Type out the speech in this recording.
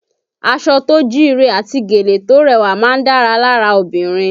Aṣọ tó jíire àti gèlè tó rẹwà máa ń dára lára obìnrin